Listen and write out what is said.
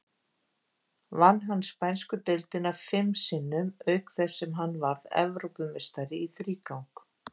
Vann hann spænsku deildina fim sinnum, auk þess sem hann varð Evrópumeistari í þrígang.